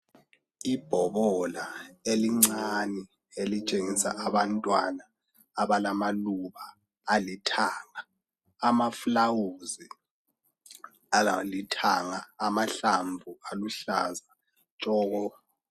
Ibhobola elincane elitshengisa abantwana abalamaluba alithanga, ama flawuzi alalithanga amahlamvu aluhlaza tshoko.